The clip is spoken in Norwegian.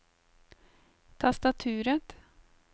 tastaturet